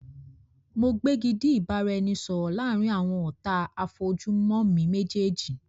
Mo gbégidí ìbáraẹnisọọ̀rọ̀ láàrín àwọn ọ̀tá a fojú mo mi méjèèjì.